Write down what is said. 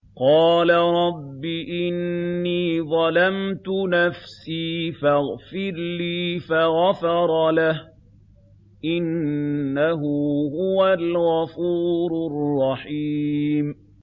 قَالَ رَبِّ إِنِّي ظَلَمْتُ نَفْسِي فَاغْفِرْ لِي فَغَفَرَ لَهُ ۚ إِنَّهُ هُوَ الْغَفُورُ الرَّحِيمُ